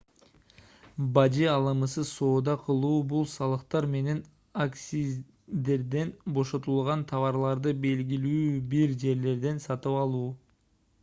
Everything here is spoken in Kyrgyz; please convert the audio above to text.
бажы алымысыз соода кылуу бул салыктар менен акциздерден бошотулган товарларды белгилүү бир жерлерден сатып алуу